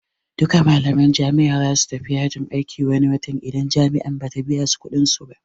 Duka malaman jami'a zasu tafi yajin aiki wani wata idan jami'an Bata biyasu kuɗin su ba